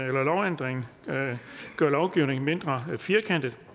lovændringen gør lovgivningen mindre firkantet